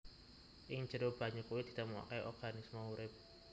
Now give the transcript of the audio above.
Ing jero banyu kuwé ditemokaké organisme urip